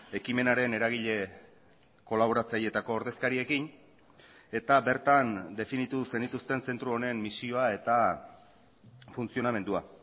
ekimenaren eragile kolaboratzailetako ordezkariekin eta bertan definitu zenituzten zentro honen misioa eta funtzionamendua